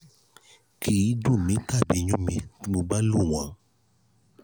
kì í dùn mi tàbí yún mi bí mo bá lò wọ́n